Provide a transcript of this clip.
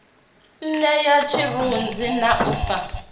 nṋea tshirunzi na u sa